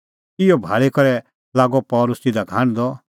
इहअ भाल़ी करै लागअ पल़सी तिधा का हांढदअ